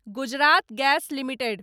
Gujarat gas limited